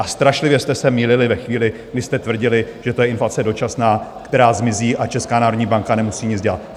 A strašlivě jste se mýlili ve chvíli, kdy jste tvrdili, že to je inflace dočasná, která zmizí, a Česká národní banka nemusí nic dělat.